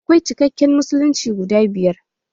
Akwai cikacikan musulunci guda biyar